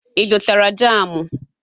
Ị zụtara jamụ?